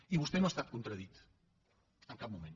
i vostè no ha estat contradit en cap moment